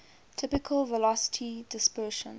typical velocity dispersion